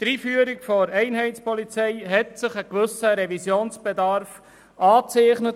der Einführung der Einheitspolizei hat sich ein gewisser Revisionsbedarf abgezeichnet.